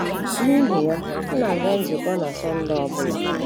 Nihi ya, m na-aga nzukọ na Sunday ọ bụla.